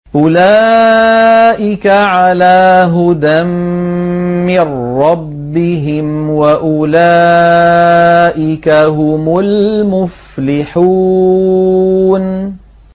أُولَٰئِكَ عَلَىٰ هُدًى مِّن رَّبِّهِمْ ۖ وَأُولَٰئِكَ هُمُ الْمُفْلِحُونَ